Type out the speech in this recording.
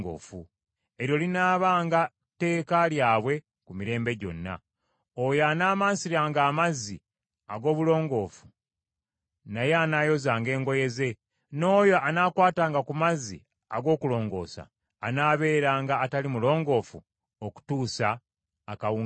Eryo linaabanga tteeka lyabwe lya mirembe gyonna. Oyo anaamansiranga amazzi ag’obulongoofu, naye anaayozanga engoye ze, n’oyo anaakwatanga ku mazzi ag’okulongoosa anaabeeranga atali mulongoofu okutuusa akawungeezi.